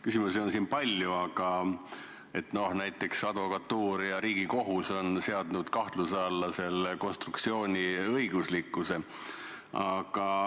Küsimusi on siin palju, näiteks advokatuur ja Riigikohus on seadnud kahtluse alla selle konstruktsiooni õiguslikkuse.